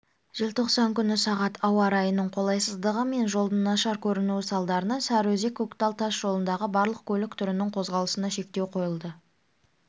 желтоқсан күні сағат ауа райының қолайсыздығы мен жолдың нашар көрінуі салдарынан сарыөзек көктал тас жолындағы барлық көлік түрінің қозғалысына шектеу қойылды